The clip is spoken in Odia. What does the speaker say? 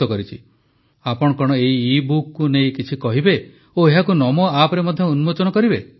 ଆପଣ କଣ ଏହି ଇବୁକକୁ ନେଇ କିଛି କହିବେ ଓ ଏହାକୁ ନମୋ ଆପର ମଧ୍ୟ ଉନ୍ମୋଚନ କରିବେ ଧନ୍ୟବାଦ